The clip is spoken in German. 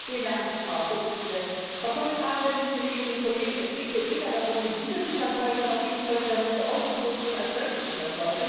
Frau Präsidentin, Frau Kommissarin, Kolleginnen und Kollegen! Es geht hier weder darum, den Diesel zu verteufeln, noch geht es heute darum, die Autoproduktion als solche zu verteufeln.